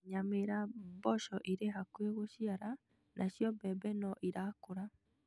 Nyamira mboco irĩ hakuhĩ gũciara nacio mbembe no irakũra